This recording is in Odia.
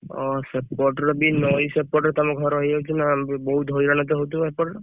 ଓ ସେପଟରେ ବି ନଇ ସେପଟେ ତମ ଘର ହେଇଯାଉଛି ନା ବହୁତ ହଇରାଣ ହଉଥିବ ତ ସେପଟେ?